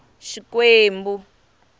xikwembu